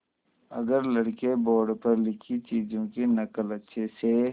अगर लड़के बोर्ड पर लिखी चीज़ों की नकल अच्छे से